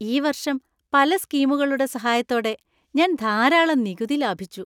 ഈ വർഷം പല സ്കീമുകളുടെ സഹായത്തോടെ ഞാൻ ധാരാളം നികുതി ലാഭിച്ചു.